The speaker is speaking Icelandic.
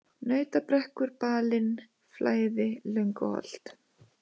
Nautabrekkur, Balinn, Flæði, Lönguholt